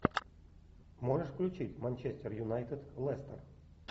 можешь включить манчестер юнайтед лестер